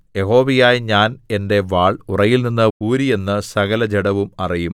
യഹോവയായ ഞാൻ എന്റെ വാൾ ഉറയിൽനിന്ന് ഊരിയെന്ന് സകലജഡവും അറിയും